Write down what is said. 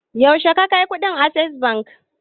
Yaushe ka kai kuɗin access bank?